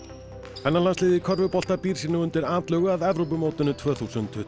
kvennalandsliðið í körfubolta býr sig nú undir atlögu að Evrópumótinu tvö þúsund tuttugu